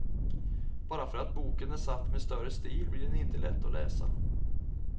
Bara för att boken är satt med större stil blir den inte lätt att läsa.